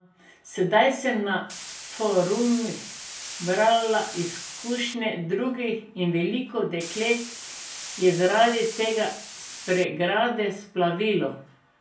Sedaj sem na forumih brala izkušnje drugih in veliko deklet je zaradi te pregrade splavilo.